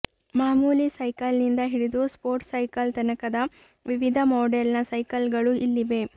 ಮಾಮೂಲಿ ಸೈಕಲ್ನಿಂದ ಹಿಡಿದು ಸ್ಪೋರ್ಟ್ಸ್ ಸೈಕಲ್ ತನಕದ ವಿವಿಧ ಮಾಡೆಲ್ನ ಸೈಕಲ್ಗಳು ಇಲ್ಲಿವೆ